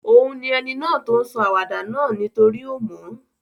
Òun ni eni náà to n sọ àwàdà náà nítorí o mo